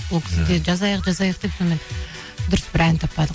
ол кісі де жазайық жазайық деп сонымен дұрыс бір ән таппадық